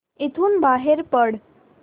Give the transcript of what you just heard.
इथून बाहेर पड